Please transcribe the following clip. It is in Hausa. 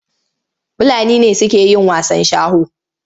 Fulani ne suke yin wasan sharo.